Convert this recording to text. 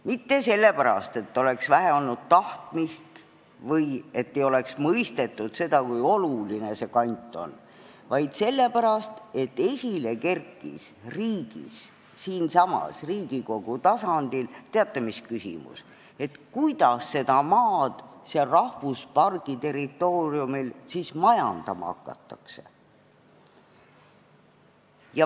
Mitte sellepärast, et oleks olnud vähe tahtmist või et ei oleks mõistetud, kui oluline see kant on, vaid sellepärast, et riigis, siinsamas Riigikogu tasandil kerkis esile küsimus, kuidas seda maad seal rahvuspargi territooriumil majandama hakata.